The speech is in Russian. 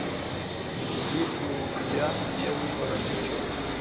есть ли у тебя белый воротничок